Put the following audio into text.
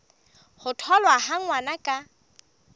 ho tholwa ha ngwana ka